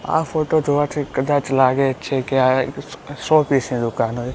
આ ફોટો જોવાથી કદાચ લાગે છે કે આ એક શો શોપીસ ની દુકાન હોય.